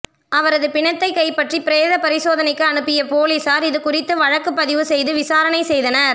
அவரது பிணத்தை கைப்பற்றி பிரேத பரிசோதனைக்கு அனுப்பிய போலீசார் இதுகுறித்து வழக்கு பதிவு செய்து விசாரணை செய்தனர்